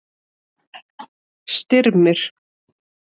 Styrmir